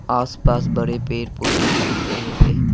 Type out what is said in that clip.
आसपास बड़े पेड़ पौधे भी दिख रहे हैं।